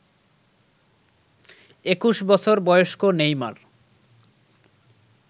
২১ বছর বয়স্ক নেইমার